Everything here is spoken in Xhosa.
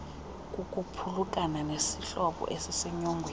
kukuphulukana nesihlobo esisenyongweni